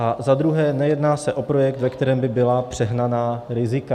A za druhé, nejedná se o projekt, ve kterém by byla přehnaná rizika.